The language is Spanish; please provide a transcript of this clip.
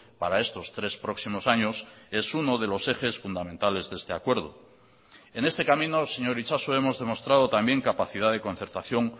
para estos tres próximos años es uno de los ejes fundamentales de este acuerdo en este camino señor itxaso hemos demostrado también capacidad de concertación